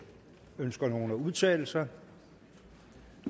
ønsker nogen at udtale sig